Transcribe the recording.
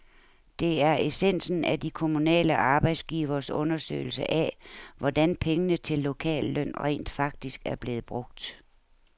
Det er essensen af de kommunale arbejdsgiveres undersøgelse af, hvordan pengene til lokalløn rent faktisk er blevet brugt.